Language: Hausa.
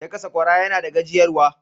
Daka Sakwara yana da gajiyar wa.